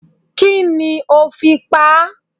Kí ni ó fi pa á?